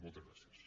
moltes gràcies